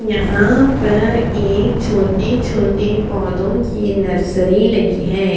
यहाँ पर एक छोटी छोटी पोधो कि एक नर्सरी लगी है।